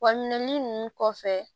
Wa minɛn ninnu kɔfɛ